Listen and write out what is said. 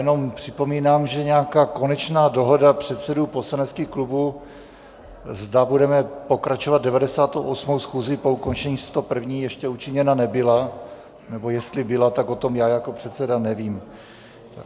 Jenom připomínám, že nějaká konečná dohoda předsedů poslaneckých klubů, zda budeme pokračovat 98. schůzí po ukončení 101., ještě učiněna nebyla, nebo jestli byla, tak o tom já jako předseda nevím.